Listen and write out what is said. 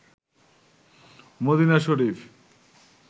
Medina Sharif